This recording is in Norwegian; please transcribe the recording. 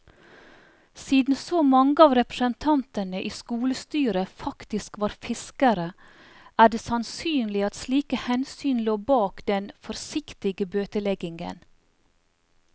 Siden så mange av representantene i skolestyret faktisk var fiskere, er det sannsynlig at slike hensyn lå bak den forsiktige bøteleggingen.